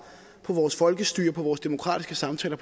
på vores folkestyre og på vores demokratiske samtaler